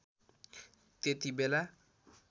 त्यती बेला